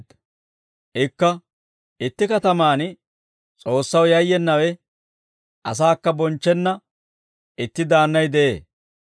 Ikka, «Itti katamaan S'oossaw yayyenawe, asaakka bonchchenna itti daannay de'ee.